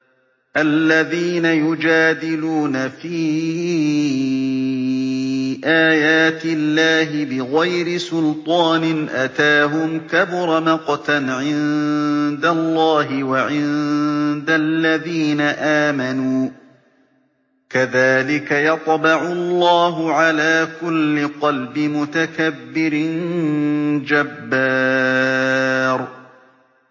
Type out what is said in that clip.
الَّذِينَ يُجَادِلُونَ فِي آيَاتِ اللَّهِ بِغَيْرِ سُلْطَانٍ أَتَاهُمْ ۖ كَبُرَ مَقْتًا عِندَ اللَّهِ وَعِندَ الَّذِينَ آمَنُوا ۚ كَذَٰلِكَ يَطْبَعُ اللَّهُ عَلَىٰ كُلِّ قَلْبِ مُتَكَبِّرٍ جَبَّارٍ